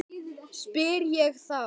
spyr ég þá.